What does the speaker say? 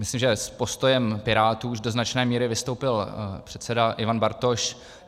Myslím, že s postojem Pirátů už do značné míry vystoupil předseda Ivan Bartoš.